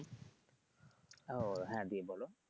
ও হ্যা জ্বি বলো।